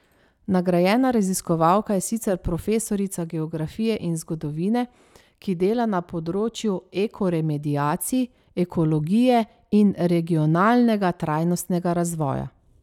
Nagrajena raziskovalka je sicer profesorica geografije in zgodovine, ki dela na področju ekoremediacij, ekologije in regionalnega trajnostnega razvoja.